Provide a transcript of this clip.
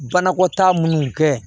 Banakɔtaa minnu kɛ